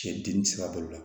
Cɛ dimi sira bolo kan